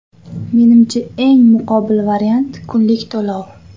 Menimcha, eng muqobil variant - kunlik to‘lov.